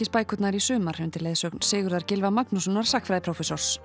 Alþingisbækurnar í sumar undir leiðsögn Sigurðar Gylfa Magnússonar